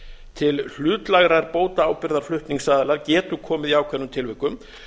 til hlutlægrar bótaábyrgðar flutningsaðila getur komið í ákveðnum tilvikum